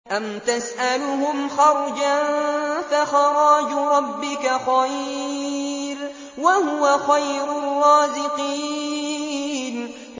أَمْ تَسْأَلُهُمْ خَرْجًا فَخَرَاجُ رَبِّكَ خَيْرٌ ۖ وَهُوَ خَيْرُ الرَّازِقِينَ